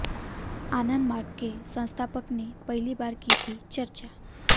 आनंदमार्ग के संस्थापक ने पहली बार की थी चर्चा